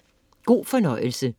God fornøjelse!